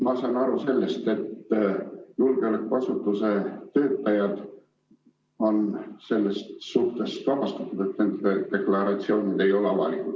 Ma saan aru, et julgeolekuasutuste töötajad on sellest vabastatud, nende deklaratsioonid ei ole avalikud.